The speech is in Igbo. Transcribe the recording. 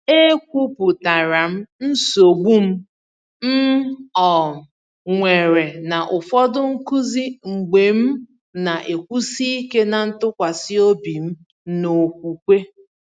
E kwuputara m nsogbu m m um nwere na ụfọdụ nkuzi mgbe m na-ekwusi ike na ntụkwasị obi m n’okwukwe.